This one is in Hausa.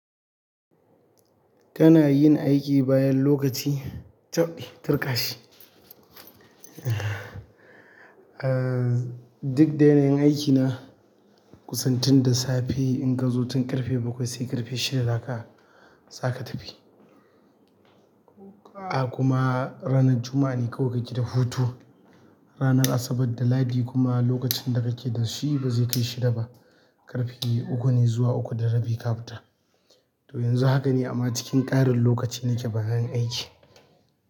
Kana yin aiki bayan lokaci taɓɗi, turƙashi. Eh, duk da yanayin aiki na, kusan tun da safe in kazo tun ƙarfe bakwai sai ƙarfe shida zaka, zaka tafi. Haka kuma ranar Juma'a ne kawai kake da hutu. Ranar Asabar da Lahadi kuma lokacin da kake da shi ba zai kai shida ba, ƙarfe uku ne zuwa uku da rabi ka fita. To yanzu haka ne amma cikin ƙarin lokaci nake bayan aiki.